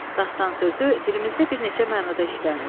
Dastan sözü dilimizdə bir neçə mənada işlənir.